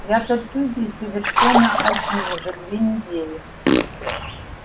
я торчу здесь совершенно один уже две недели